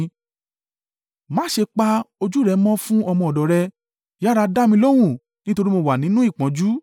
Má ṣe pa ojú rẹ mọ́ fún ọmọ ọ̀dọ̀ rẹ: yára dá mi lóhùn, nítorí mo wà nínú ìpọ́njú.